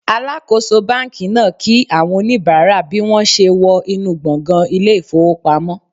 Alakoso banki naa ki awon onibara naa bi won se wo inu gbongan ile ifowopamo